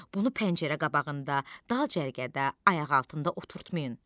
Bunu pəncərə qabağında, dal cərgədə, ayaqaltında oturtmayın.